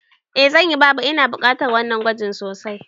Eh zanyi baba, Ina bukatar wannan gwajin sosai